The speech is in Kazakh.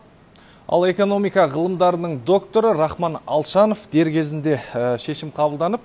ал экономика ғылымдарының докторы рахман алшанов дер кезінде шешім қабылданып